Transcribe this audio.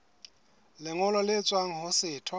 lengolo le tswang ho setho